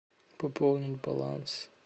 пополнить баланс